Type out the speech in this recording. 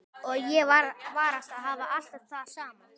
Og ég varast að hafa alltaf það sama.